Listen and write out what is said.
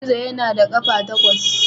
Gizo yana da ƙafa takwas.